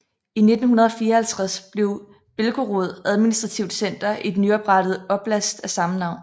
I 1954 blev Belgorod administrativt center i den nyoprettede oblast af samme navn